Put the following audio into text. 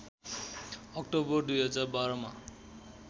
October २०१२मा